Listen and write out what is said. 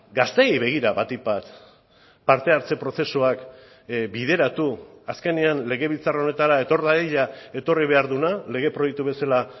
gazteei begira batik bat parte hartze prozesuak bideratu azkenean legebiltzar honetara etor dadila etorri behar duena lege proiektu bezala